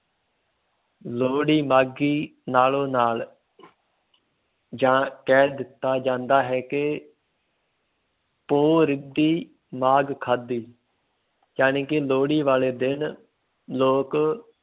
ਲੋਹੜੀ ਮਾਘੀ ਨਾਲੋਂ ਨਾਲ ਜਾਂ ਕਹਿ ਦਿੱਤਾ ਜਾਂਦਾ ਹੈ ਕਿ ਪੋਹ ਰਿੱਧੀ ਮਾਘ ਖਾਧੀ ਜਾਣੀ ਕਿ ਲੋਹੜੀ ਵਾਲੇ ਦਿਨ ਲੋਕ